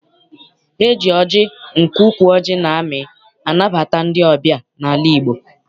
E ji ọjị nke ukwu ọjị na-amị anabata ndị ọbịa n'ala Igbo.